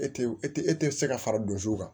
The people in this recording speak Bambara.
E tɛ e tɛ e tɛ se ka fara don zuw kan